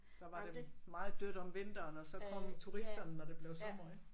Der var det meget dødt om vinteren og så kom turisterne når det blev sommer ik?